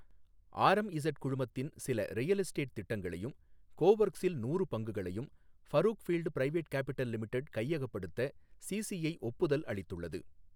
RMZ குழுமத்தின் சில real estate திட்டங்களையும், கோஒர்க்ஸ் இல் நூறு பங்குகளையும் ஃபரூக்ஃபீல்ட் பிரைவேட் கேப்பிடல் லிமிடெட் கையகப்படுத்த சிசிஐ ஒப்புதல் அளித்துள்ளது